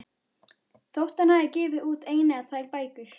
Þótt hann hafi gefið út eina eða tvær bækur.